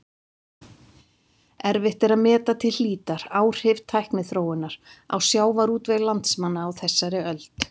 Erfitt er að meta til hlítar áhrif tækniþróunar á sjávarútveg landsmanna á þessari öld.